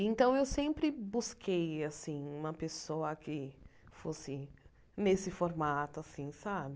Então, eu sempre busquei assim uma pessoa que fosse nesse formato assim sabe.